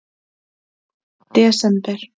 desember